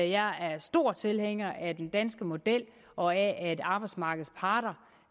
jeg er stor tilhænger af den danske model og af at arbejdsmarkedets parter